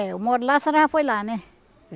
É. Eu moro lá, a senhora já foi lá, né?